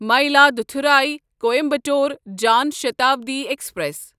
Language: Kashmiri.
مایلادتھوری کوایمبیٹور جان شتابڈی ایکسپریس